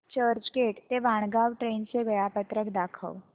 चर्चगेट ते वाणगांव ट्रेन चे वेळापत्रक दाखव